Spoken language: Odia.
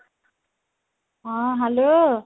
ହଁ hello